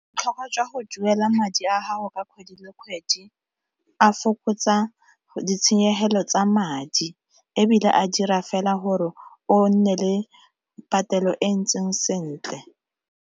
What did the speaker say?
Botlhokwa jwa go duela madi a gago ka kgwedi le kgwedi a fokotsa ditshenyegelo tsa madi, ebile a dira fela gore o nne le patelo e ntseng sentle.